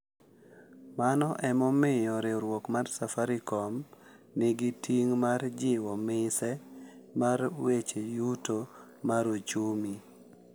Mano e momiyo riwruok mar Safaricom nigi ting’ mar jiwo mise mar weche Yuto mar ochumi .